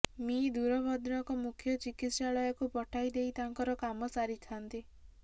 ମି ଦୂର ଭଦ୍ରକ ମୁଖ୍ୟ ଚିକିତ୍ସାଳୟକୁ ପଠାଇ ଦେଇ ତାଙ୍କର କାମ ସାରିଥାନ୍ତି